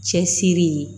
Cɛsiri